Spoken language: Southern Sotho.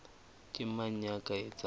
ke mang ya ka etsang